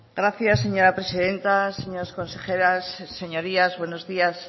gracias señora presidenta señoras consejeras señorías buenos días